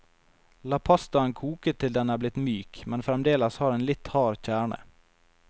La pastaen koke til den er blitt myk, men fremdeles har en litt hard kjerne.